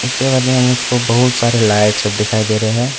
मुझको बहुत सारे लाइट सब दिखाई दे रहे हैं।